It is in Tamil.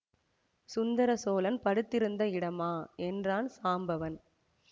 சுந்தர சோழன் படுத்திருந்த இடமா என்றான் சாம்பவன்